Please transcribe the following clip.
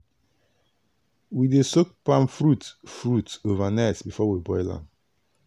we dey soak palm fruit fruit overnight before we boil am.